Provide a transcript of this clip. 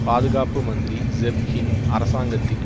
பாதுகாப்பு மந்திரி Geoff Hoon அரசாங்கத்தின்